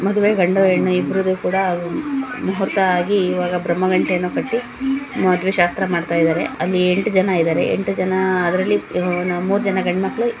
ಮಾಡುವೆ ಹೆಣ್ಣು ಗಂಡು ಇಬ್ರುದು ಕೂಡ ಮುಹೂರ್ತ ಇವಾಗ ಈಗ ಬ್ರಹ್ಮ ಗಂಟೇನೂ ಕಟ್ಟಿ ಮಾಡುವೆ ಶಾಸ್ತ್ರಾ ಮಾಡ್ತಾಯಿದ್ದಾರೆ. ಅಲ್ಲಿ ಎಂಟು ಜನ ಇದಾರೆ. ಎಂಟು ಜನ ಅದ್ರಲ್ಲಿ ಇವು ನ ಮೂರ್ ಜನ ಗಂಡ ಮಕ್ಕ್ಳು--